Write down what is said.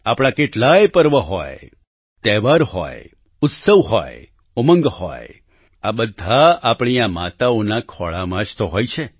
આપણા કેટલાય પર્વ હોય તહેવાર હોય ઉત્સવ હોય ઉમંગ હોય આ બધા આપણી આ માતાઓના ખોળામાં જ તો હોય છે